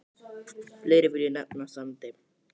Fleiri vil ég nefna á Sandi.